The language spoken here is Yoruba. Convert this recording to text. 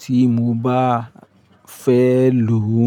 tí mo bá fẹ́ lò ó.